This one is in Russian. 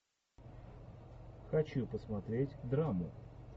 хочу посмотреть драму